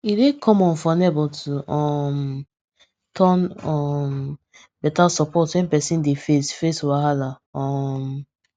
e dey common for neighbor to um turn um better support when person dey face face wahala um